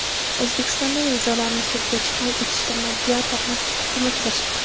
O‘zbekistonda nizolarni sudgacha hal etishda mediatorlar ko‘maklashadi.